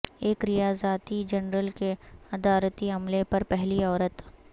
ایک ریاضیاتی جرنل کے ادارتی عملے پر پہلی عورت